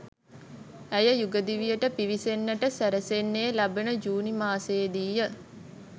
ඇය යුගදිවියට පිවිසෙන්නට සැරසෙන්නේ ලබන ජුනි මාසයේදීය